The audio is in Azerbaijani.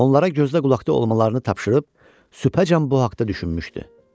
Onlara gözdəqulaqda olmalarını tapşırıb, sübhəcən bu haqda düşünmüşdü.